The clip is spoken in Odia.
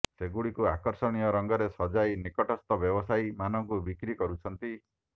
ସେଗୁଡିକୁ ଆକର୍ଷଣୀୟ ରଙ୍ଗରେ ସଜାଇ ନିକଟସ୍ଥ ବ୍ୟବସାୟୀ ମାନଙ୍କୁ ବିକ୍ରି କରୁଛନ୍ତି